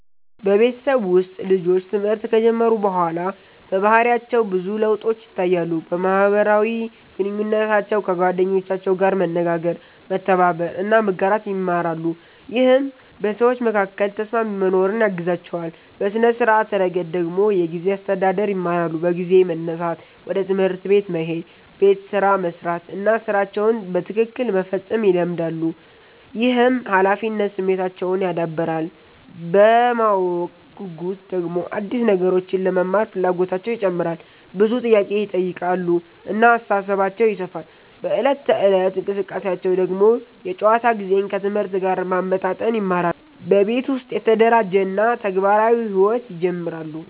በቤተሰብ ውስጥ ልጆች ትምህርት ከጀመሩ በኋላ በባህሪያቸው ብዙ ለውጦች ይታያሉ። በማህበራዊ ግንኙነታቸው ከጓደኞቻቸው ጋር መነጋገር፣ መተባበር እና መጋራት ይማራሉ፣ ይህም በሰዎች መካከል ተስማሚ መኖርን ያግዛቸዋል። በሥነ-ስርዓት ረገድ ደግሞ የጊዜ አስተዳደር ይማራሉ፤ በጊዜ መነሳት፣ ወደ ትምህርት መሄድ፣ ቤት ስራ መስራት እና ሥራቸውን በትክክል መፈጸም ይለመዳሉ። ይህም ኃላፊነት ስሜታቸውን ያዳብራል። በማወቅ ጉጉት ደግሞ አዲስ ነገሮችን ለመማር ፍላጎታቸው ይጨምራል፣ ብዙ ጥያቄ ይጠይቃሉ እና አስተሳሰባቸው ይሰፋል። በዕለት ተዕለት እንቅስቃሴያቸው ደግሞ የጨዋታ ጊዜን ከትምህርት ጋር ማመጣጠን ይማራሉ፣ በቤት ውስጥ የተደራጀ እና ተግባራዊ ሕይወት ይጀምራሉ።